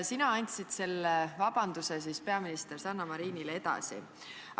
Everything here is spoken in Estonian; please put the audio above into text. Sina andsid selle vabanduse peaminister Sanna Marinile edasi.